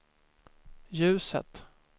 ljuset